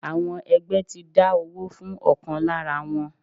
Àwọn ẹgbẹ́ ti dá owó fún ọ̀kan lára wọn.